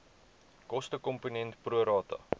kostekomponent pro rata